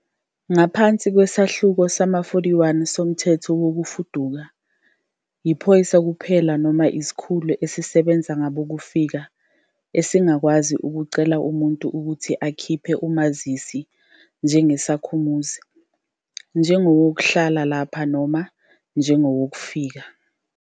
Ngaphansi kweSahluko sama-41 soMthetho Wokufuduka, iphoyisa kuphela noma isikhulu esisebenza ngabokufika esingakwazi ukucela umuntu ukuthi akhiphe umazisi njengesakhamuzi, njengowokuhlala lapha noma njengowokufika.